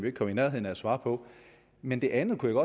ikke kom i nærheden af at svare på men det andet vil